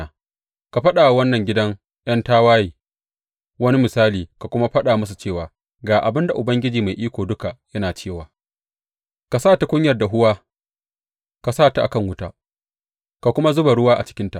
Ka faɗa wa wannan gidan ’yan tawaye wani misali ka kuma faɗa musu cewa, Ga abin da Ubangiji Mai Iko Duka yana cewa, Ka sa tukunyar dahuwa; ka sa ta a kan wuta ka kuma zuba ruwa a cikinta.